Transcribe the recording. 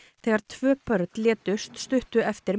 þegar tvö börn létust stuttu eftir